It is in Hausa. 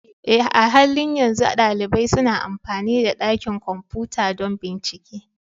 Eh, a halin yanzu ɗalibai suna amfani da dakin kwamfuta don bincike